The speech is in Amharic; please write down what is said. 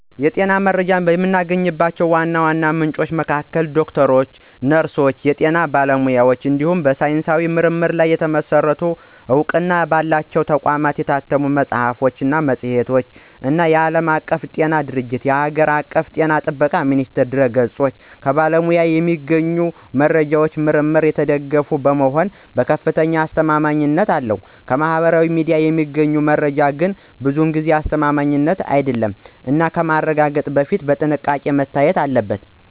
የጤና መረጃ የማገኝባቸው ዋና ዋና ምንጮች መካከል ዶክተሮች፣ ነርሶች እና የጤና ባለሙያዎች እንዲሁም በሳይንሳዊ ምርምር ላይ የተመሰረቱ እና በእውቅና ባላቸው ተቋማት የታተሙ መጽሐፍት ወይም መጽሔቶች እና የዓለም ጤና ድርጅትእና የአገር ውስጥ ጤና ጥበቃ ሚኒስቴር ድረ-ገጾች ናቸው። ከባለሙያዎች የሚገኘው መረጃ በምርምር የተደገፈ በመሆኑ ከፍተኛ አስተማማኝነት አለው። ከማህበራዊ ሚዲያ የሚገኘው መረጃ ግን ብዙ ጊዜ አስተማማኝ አይደለም እና ከማረጋገጥ በፊት በጥንቃቄ መታየት አለበት።